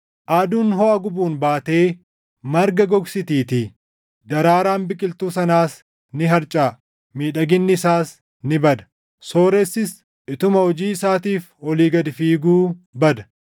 Aduun hoʼa gubuun baatee marga gogsitiitii; daraaraan biqiltuu sanaas ni harcaʼa; miidhaginni isaas ni bada. Sooressis utuma hojii isaatiif olii gad fiiguu bada.